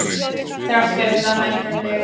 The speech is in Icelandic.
Þrátt fyrir það hækkar leigan.